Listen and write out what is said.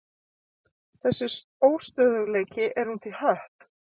Þessi óstöðugleiki er út í hött.